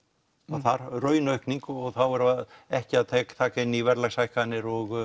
þar raunaukning og þá erum við ekki að taka inn í verðlagshækkanir og